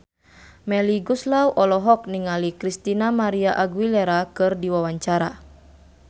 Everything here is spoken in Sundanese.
Melly Goeslaw olohok ningali Christina María Aguilera keur diwawancara